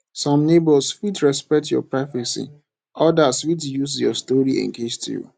some neighbors fit respect your privacy others fit use your story against you